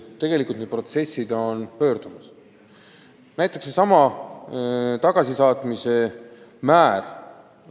Tegelikult on need protsessid pöördunud, näiteks kasvab aastast aastasse tagasisaatmise määr.